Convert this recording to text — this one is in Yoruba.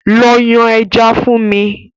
Lọ yan ẹja fún mi!